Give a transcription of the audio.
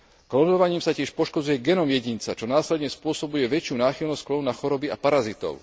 Klonovaním sa tiež poškodzuje genóm jedinca, čo následne spôsobuje väčšiu náchylnosť klonu na choroby a parazitov.